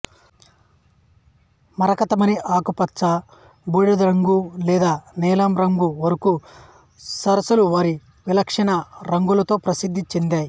మరకతమణి ఆకుపచ్చ బూడిద రంగు లేదా నీలం రంగు వరకు సరస్సులు వారి విలక్షణ రంగులతో ప్రసిద్ధి చెందాయి